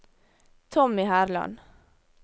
Tommy Herland